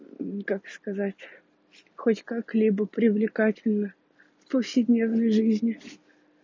как сказать хоть как-либо привлекательно в повседневной жизни